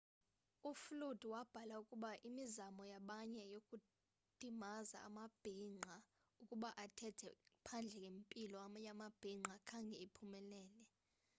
uflute wabhala ukuba imizamo yabanye yokudimaza amabhinqa ukuba athethe phandle ngempilo yamabhinqa khange iphumelele